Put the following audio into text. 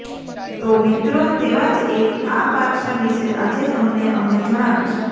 તો મિત્રો તેવા જ એક આ પરસા વિશે આજે અમે તમને જણાવશું